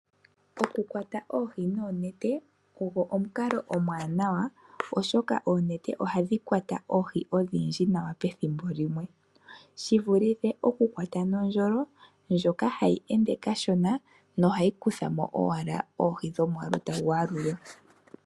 Okukwata oohi noonete ogwo omukalo omuwanawa oshoka oonete ohadhi kwata oohi odhindji nawa pethimbo limwe shi vulithe okukwata nondjolo ndjoka hayi ende kashona nohayi kutha mo owala oohi dhomwaalu tagu yalulwa.